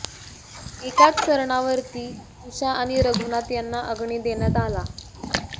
एकाच सरणावरती उषा आणि रघुनाथ यांना अग्नि देण्यात आला